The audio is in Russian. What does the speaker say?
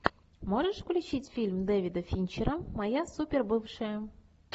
можешь включить фильм дэвида финчера моя супер бывшая